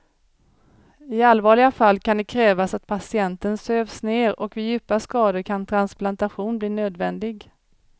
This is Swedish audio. I allvarliga fall kan det krävas att patienten sövs ner och vid djupa skador kan transplantation bli nödvändig.